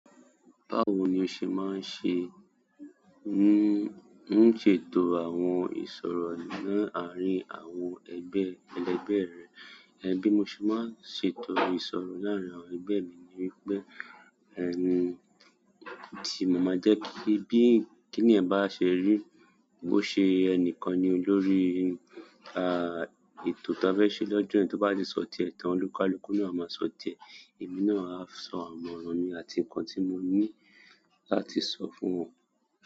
Báwo ni o ṣe máa ń ṣe, n ṣètò àwọn ìṣòro láàárín àwọn ẹgbẹ́ ẹlẹgbẹ́ rẹ? Bí mo ṣe máa ń ṣètò ìṣòro láàárín àwọn ẹgbẹ́ mi. Ní wípé, tí mo máa jẹ́ kí, bí kì ní yẹn bá ṣe rí, bó ṣe ẹnìkan ni olórí, a ètò tí a fẹ́ ṣe lọ́jọ́ yẹn, tó bá di sọ̀tí ẹ̀ tán olúkúlùkù náà máa sọ̀tí ẹ, èmi náà á sọ àmọ̀ràn mi àti nǹkan tí mo ní láti sọ fún wọn.